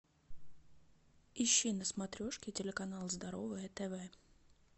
ищи на смотрешке телеканал здоровое тв